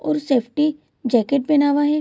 और safety jacket पिहना हुआ है।